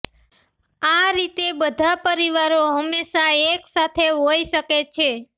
આ રીતે બધા પરિવારો હંમેશાં એકસાથે હોઈ શકે છે